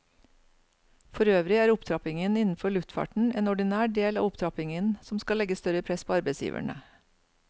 Forøvrig er opptrappingen innenfor luftfarten en ordinær del av opptrappingen som skal legge større press på arbeidsgiverne.